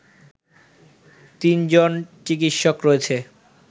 তিনজন চিকিৎসক রয়েছে